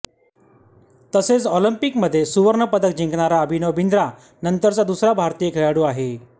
तसेच ऑलिम्पिकमध्ये सुवर्णपदक जिंकणारा अभिनव बिंद्रा नंतरचा दुसरा भारतीय खेळाडू आहे